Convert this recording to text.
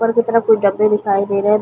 ऊपर की तरफ कुछ गद्दे दिखाई दे रहे है।